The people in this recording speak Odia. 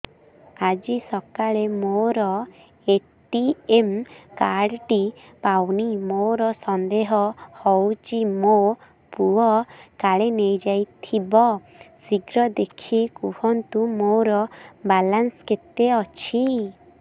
ଆଜି ସକାଳେ ମୋର ଏ.ଟି.ଏମ୍ କାର୍ଡ ଟି ପାଉନି ମୋର ସନ୍ଦେହ ହଉଚି ମୋ ପୁଅ କାଳେ ନେଇଯାଇଥିବ ଶୀଘ୍ର ଦେଖି କୁହନ୍ତୁ ମୋର ବାଲାନ୍ସ କେତେ ଅଛି